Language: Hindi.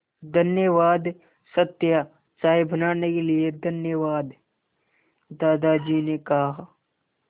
धन्यवाद सत्या चाय बनाने के लिए धन्यवाद दादाजी ने कहा